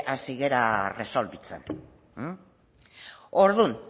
hasi gara erresolbitzen orduan